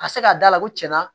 A bɛ se ka d'a la ko tiɲɛna